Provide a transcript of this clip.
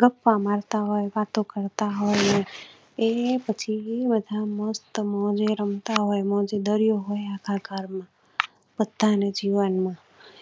ગપ્પા માર તા હોય વાતો તા હોય એ પછી મસ્ત મુઝે રમતા હોય. મજે દરિયો હોય આખા ગરમાં બધા ને જીવન માં